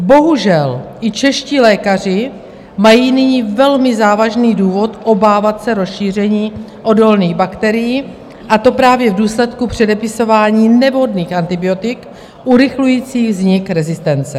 Bohužel, i čeští lékaři mají nyní velmi závažný důvod obávat se rozšíření odolných bakterií, a to právě v důsledku předepisování nevhodných antibiotik urychlujících vznik rezistence.